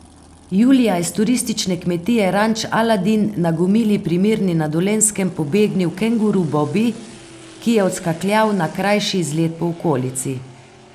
Julija je s turistične kmetije Ranč Aladin na Gomili pri Mirni na Dolenjskem pobegnil kenguru Bobi, ki je odskakljal na krajši izlet po okolici.